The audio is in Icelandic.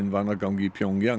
vanagang í